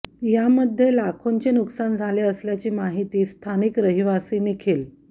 यामध्ये लाखोंचे नुकसान झाले असल्याची माहिती स्थानिक रहिवासी निखिल